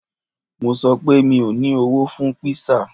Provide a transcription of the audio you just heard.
Mo sọ pé, mi ò ní owó fún kpísà